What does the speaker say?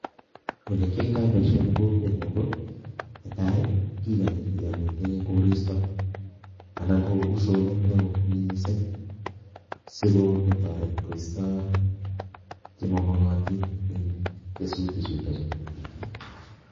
Ole kiyaitoi boisioni eng kokwenyu ko netai, kikanyi yon mitei koristo anan ko usonet neo mising sikotoret koisto chemamakatin eng kesutik chutokchu.